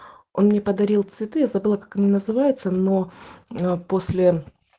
он мне подарил цветы я забыла как она называется но после